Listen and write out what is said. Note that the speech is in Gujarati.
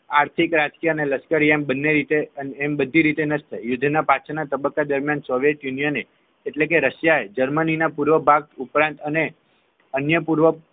આર્થિક રાષ્ટ્રીય અને લશ્કરી એમ બંને રીતે અને બાંધી રીતે નષ્ટ થઇ યુદ્ધ ના પાછળ ના તબક્કા દરમિયાન યુનિયન એટલે કે રશિયાએ જર્મનીના પૂર્વ ભાગ ઉપરાંત અને અન્ય પૂર્વ